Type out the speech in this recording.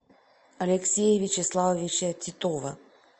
алексея вячеславовича титова